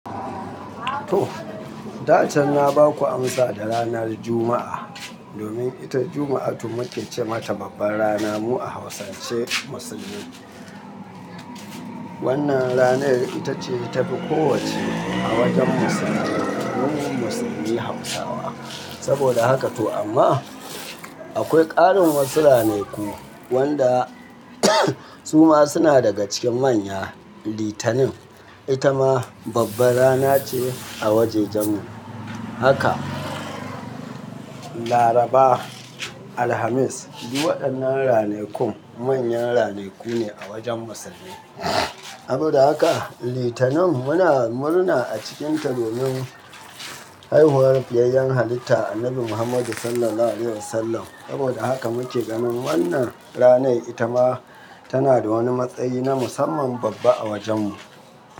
To, da can na ba ku amsa da ranar Juma'a. Domin ita Juma'a, to muke ce mata babbar rana mu a Hausance musulmi. Wannan ranar ita ce ta fi kowacce a wajen musulmai, domin musulmi Hausawa. Saboda haka to amma, akwai ƙarin wasu ranaku wanda su ma suna daga cikin manya, Litinin. Ita ma babbar rana ce a wajajen mu. Haka Laraba, Alhamis, duk waɗannan ranaku manyan ranaku ne a wajen musulmi. Saboda haka Litinin muna murna a cikinta domin haihuwar fiyayyan halitta Annabi Muhammadu sallallahu alaihi wasallam. Saboda haka muke ganin wannan ranar ita ma tana da wani matsayi na musamman babba a wajen mu.